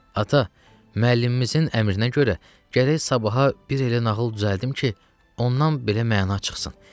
Ata, müəllimimizin əmrinə görə gərək sabaha bir elə nağıl düzəldim ki, ondan belə məna çıxsın.